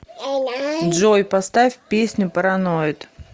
джой поставь песню параноид